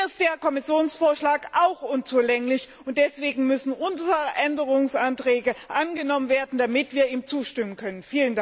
Hier ist der Kommissionsvorschlag auch unzulänglich, und deswegen müssen unsere Änderungsanträge angenommen werden, damit wir ihm zustimmen können